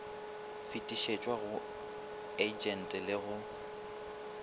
fetišetšwa go agente go le